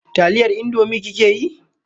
Taliyar Indomie kike yi?